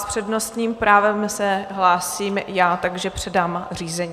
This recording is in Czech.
S přednostním právem se hlásím já, takže předám řízení.